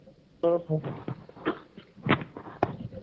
2 . Hello